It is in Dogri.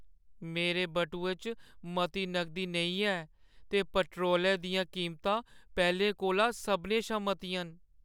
मेरे बटुए च मती नगदी नेईं ऐ ते पेट्रोलै दियां कीमतां पैह्‌लें कोला सभनें शा मतियां न।